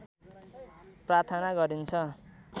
प्रार्थना गरिन्छ